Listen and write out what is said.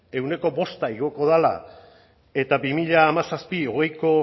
ehuneko bosta igoko dela eta bi mila hamazazpi barra hogeiko